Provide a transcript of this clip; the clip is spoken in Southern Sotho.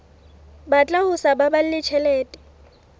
batla ho sa baballe tjhelete